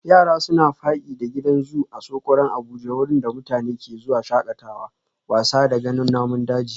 Yara suna faki da gidan zoo Asokoro Abuja wurin da mutane ke zuwa shakatawa, wasa da ganin namun daji